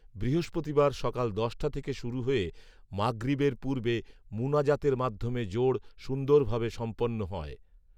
বৃহস্পতিবার সকাল দশটা থেকে শুরু হয়ে মাগরিবের পূর্বে মুনাজাতের মাধ্যমে জোড় সুন্দরভাবে সম্পন্ন হয়